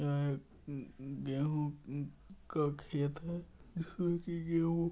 अ गेहूँ का खेत है जिसमें की गेहूँ --